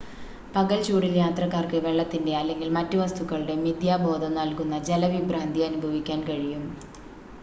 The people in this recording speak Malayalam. പകൽ ചൂടിൽ യാത്രക്കാർക്ക് വെള്ളത്തിന്റെ അല്ലെങ്കിൽ മറ്റ് വസ്തുക്കളുടെ മിഥ്യാബോധം നൽകുന്ന ജലവിഭ്രാന്തി അനുഭവിക്കാൻ കഴിയും